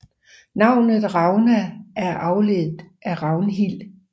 Navnet Ragna er afledt af Ragnhild